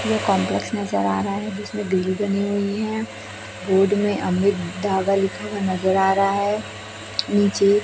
यह कंपलेक्स नजर आ रहा है जिसमें बनी हुई हैं बोर्ड में में अमृत धागा लिखा हुआ नजर आ रहा है नीचे--